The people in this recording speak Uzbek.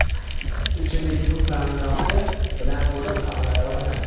ichimlik suv ta’minoti bilan to‘liq qamrab olinadi.